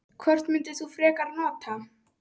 Hvort myndir þú frekar nota?